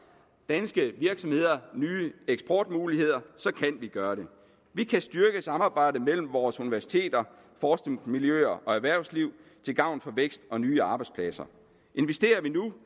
danske virksomheder nye eksportmuligheder så kan vi gøre det vi kan styrke samarbejdet mellem vores universiteter forskningsmiljøer og erhvervsliv til gavn for vækst og nye arbejdspladser investerer vi nu